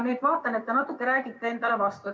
Ma vaatan, et te natuke räägite endale vastu.